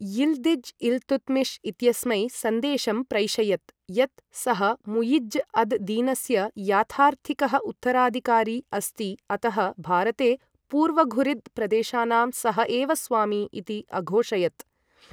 Yildiz Iltutmish इत्यस्मै सन्देशं प्रैषयत्, यत् सः मुइज्ज् अद् दीनस्य याथार्थिकः उत्तराधिकारी अस्ति अतः भारते पूर्वघुरिद् प्रदेशानां सः एव स्वामी इति अघोषयत्।